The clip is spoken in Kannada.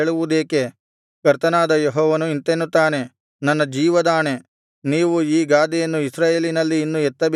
ಕರ್ತನಾದ ಯೆಹೋವನು ಇಂತೆನ್ನುತ್ತಾನೆ ನನ್ನ ಜೀವದಾಣೆ ನೀವು ಈ ಗಾದೆಯನ್ನು ಇಸ್ರಾಯೇಲಿನಲ್ಲಿ ಇನ್ನು ಎತ್ತಬೇಕಾಗುವುದಿಲ್ಲ